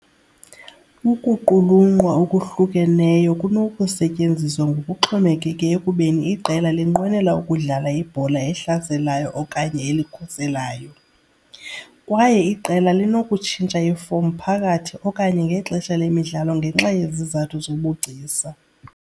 Ukuqulunqwa okuhlukeneyo kunokusetyenziswa ngokuxhomekeke ekubeni iqela linqwenela ukudlala ibhola elihlaselayo okanye elikhuselayo, kwaye iqela linokutshintsha iifom phakathi okanye ngexesha lemidlalo ngenxa yezizathu zobugcisa.